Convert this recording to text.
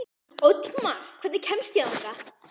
Oddmar, hvernig kemst ég þangað?